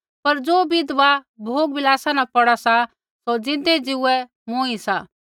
पर ज़ो विधवा भोगविलासा न पौड़ा सा सौ ज़िन्दै ज़ीउऐ मूँई सा